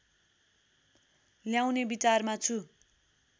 ल्याउने विचारमा छु